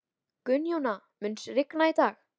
Gunnjóna, mun rigna í dag?